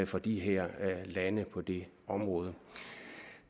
for de her lande på det område